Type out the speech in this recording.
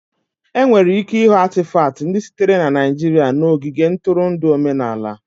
Enwere ike ịhụ Atịfatị ndị sitere na Naijiria n'ogige ntụrụndụ omenala